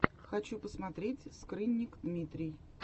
хочу посмотреть скрынник дмитрий